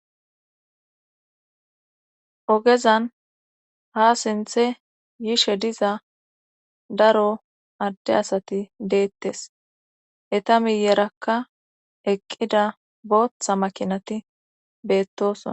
Ogezan ha siinththe yishshe diza daro adde asati deettes eta miyerakka eqqida booththa makinati beettosona